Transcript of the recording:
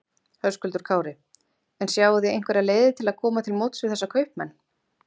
Höskuldur Kári: En sjáið þið einhverjar leiðir til að koma til móts við þessa kaupmenn?